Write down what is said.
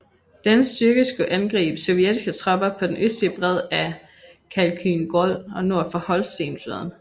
Denne styrke skulle angribe sovjetiske tropper på den østlige bred af Khalkhyn Gol og nord for Holsten floden